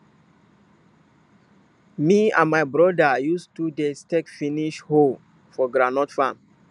me and my broda use 2 days take finish hoe for groundnut farm